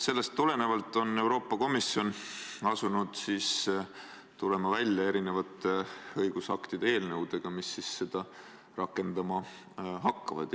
Sellest tulenevalt on Euroopa Komisjon asunud välja tulema erinevate õigusaktide eelnõudega, mis seda rakendama hakkavad.